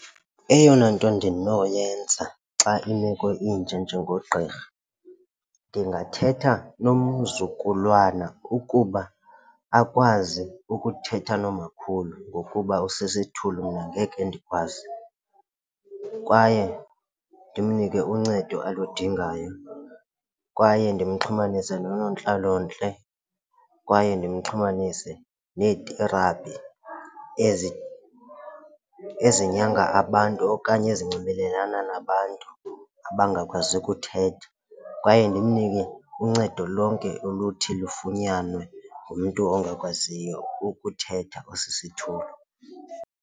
Eyona nto ndinoyenza xa imeko inje njengogqirha ndingathetha nomzukulwana ukuba akwazi ukuthetha nomakhulu ngokuba usisithulu mna angeke ndikwazi. Kwaye ndimnike uncedo aludingayo kwaye ndimxhumanise noonontlalontle kwaye ndimxhumanise nee-therapgy ezinyangaa abantu okanye ezinxibelelana nabantu abangakwazi kuthetha. Kwaye ndimnike uncedo lonke oluthi lufunyanwe ngumntu ongakwaziyo ukuthetha osisithulu.